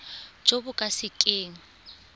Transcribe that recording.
jo bo ka se keng